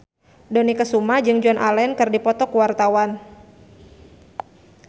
Dony Kesuma jeung Joan Allen keur dipoto ku wartawan